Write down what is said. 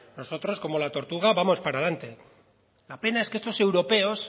nosotros como la tortuga vamos para delante la pena es que estos europeos